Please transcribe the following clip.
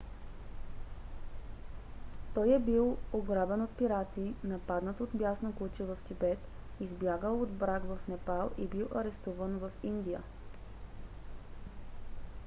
той е бил ограбен от пирати нападнат от бясно куче в тибет избягал от брак в непал и бил арестуван в индия